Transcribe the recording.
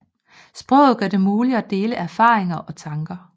Sproget gør det muligt at dele erfaringer og tanker